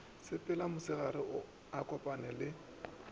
sepele mosegare a kopane le